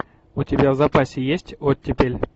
у тебя в запасе есть оттепель